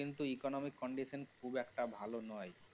কিন্তু economic condition খুব একটা ভালো নয়।